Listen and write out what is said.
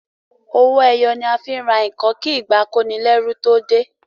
owoeye ni a fín rà nkán kí ìgbà akonileru tó dey.